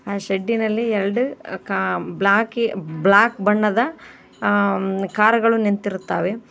ಆ ಶೆಡ್ಡಿನಲ್ಲಿ ಎರಡು ಕಾ ಬ್ಲಾಕಿ ಬ್ಲಾಕ್ ಬಣ್ಣದ ಹ್ಮ್ಮ್ ಕಾರುಗಳು ನಿಂತಿರುತ್ತವೆ.